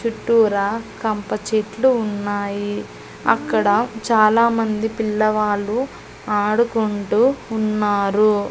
చుట్టూరా కంపచెట్లు ఉన్నాయి అక్కడ చాలామంది పిల్లవాళ్ళు ఆడుకుంటూ ఉన్నారు.